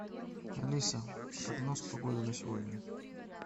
алиса прогноз погоды на сегодня